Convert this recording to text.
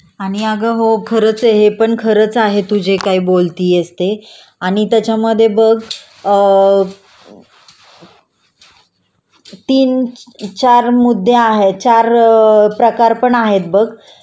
आणि अगं हो खरंच आहे हे पण खरं खरंच आहे तू जे काही बोलतियेस ते आणि त्याच्यामधे बघ अ तीन चार मुद्दे आहे.चार प्रकार पण आहेत बघ